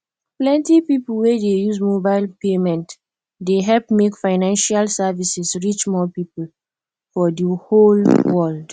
plenty people wey dey use mobile payment dey help make financial services reach more people for di whole world